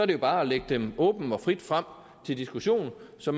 det jo bare at lægge dem åbent og frit frem til diskussion så